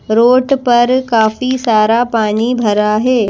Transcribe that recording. Road पर काफी सारा पानी भरा है।